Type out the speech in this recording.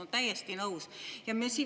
No täiesti nõus!